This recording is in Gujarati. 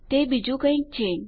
તે બીજું કઈક છે